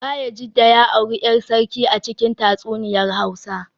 Bayajidda ya auri ‘yar sarki a cikin tatsuniyar Hausa